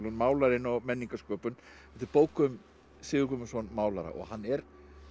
málarinn og menningarsköpun þetta er bók um Sigurð Guðmundsson málara og hann er